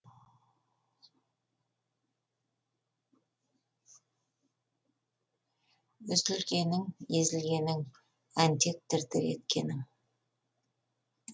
үзілгенің езілгенің әнтек дір дір еткенің